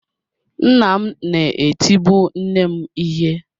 Nna m na-etibu nne m ihe.